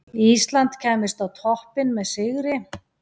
Ísland kæmist á toppinn með sigri.